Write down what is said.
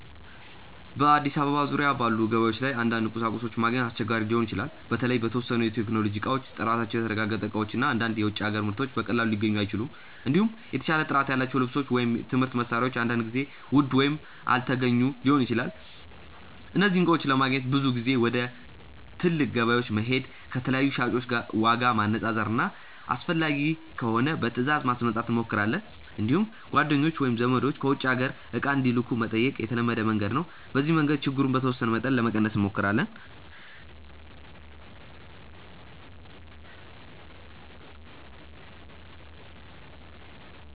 በአዲስ አበባ ዙሪያ ባሉ ገበያዎች ላይ አንዳንድ ቁሳቁሶች ማግኘት አስቸጋሪ ሊሆን ይችላል። በተለይ የተወሰኑ የቴክኖሎጂ እቃዎች፣ ጥራታቸው የተረጋገጠ እቃዎች እና አንዳንድ የውጭ አገር ምርቶች በቀላሉ ሊገኙ አይችሉም። እንዲሁም የተሻለ ጥራት ያላቸው ልብሶች ወይም የትምህርት መሳሪያዎች አንዳንድ ጊዜ ውድ ወይም አልተገኙ ሊሆኑ ይችላሉ። እነዚህን እቃዎች ለማግኘት ብዙ ጊዜ ወደ ትልቅ ገበያዎች መሄድ፣ ከተለያዩ ሻጮች ዋጋ ማነፃፀር እና አስፈላጊ ከሆነ በትእዛዝ ማስመጣት እንሞክራለን። እንዲሁም ጓደኞች ወይም ዘመዶች ከውጭ አገር እቃ እንዲልኩ መጠየቅ የተለመደ መንገድ ነው። በዚህ መንገድ ችግሩን በተወሰነ መጠን ለመቀነስ እንሞክራለን።